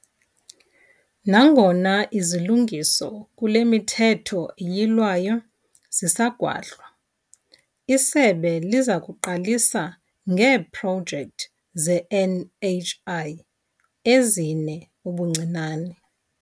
Nangona izilungiso kule miThetho iYilwayo zisagwadlwa, isebe liza kuqalisa ngeeprojekthi ze-NHI ezine ubuncinane.